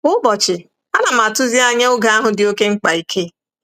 Kwa ụbọchị, ana m atụsi anya oge ahụ dị oké mkpa ike.